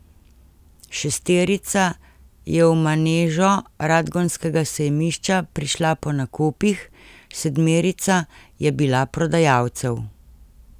Šesterica je v manežo radgonskega sejmišča prišla po nakupih, sedmerica je bila prodajalcev.